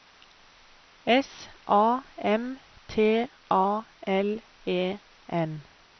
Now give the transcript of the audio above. S A M T A L E N